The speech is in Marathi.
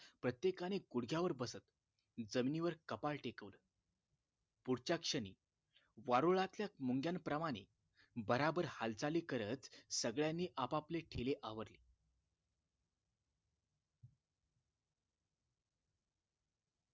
प्रत्येकाने गुढग्यावर बसत जमिनीवर कपाळ टेकवलं पुढच्याच क्षणी वारुळातल्या मुंग्यांप्रमाणे भराभर हालचाली करत सगळ्यांनी आपापले ठेले आवरले